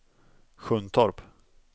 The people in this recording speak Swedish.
Sjuntorp